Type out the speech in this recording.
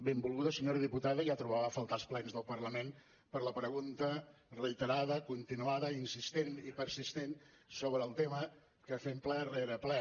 benvolguda senyora diputada ja trobava a faltar els plens del parlament per la pregunta reiterada continuada insistent i persistent sobre el tema que fem ple rere ple